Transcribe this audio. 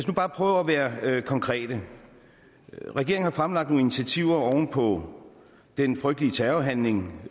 nu bare prøve at være konkrete regeringen har fremlagt nogle initiativer oven på den frygtelige terrorhandling